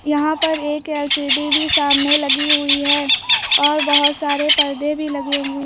यहां पर एक एल_सी_डी भी सामने लगी हुई है और बहुत सारे पर्दे भी लगे हुए--